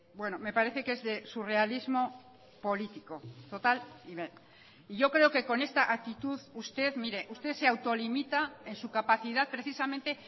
bueno me parece que es de surrealismo político total y yo creo que con esta actitud usted mire usted se autolimita en su capacidad precisamente